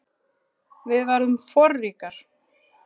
Við verðum forríkar